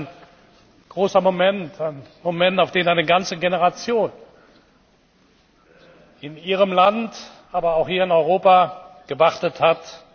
Das ist ein großer Moment, ein Moment, auf den eine ganze Generation in Ihrem Land, aber auch hier in Europa gewartet hat!